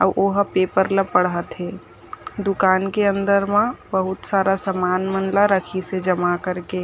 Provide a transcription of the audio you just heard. अउ ओहा पेपर ला पढ़त हे दुकान के अंदर मा बहुत सारा सामान मन ला रखिस हे जमा कर के--